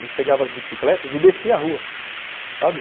A gente pegava as bicicletas e descia a rua, sabe?